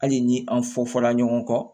Hali ni an fɔ fɔla ɲɔgɔn kɔ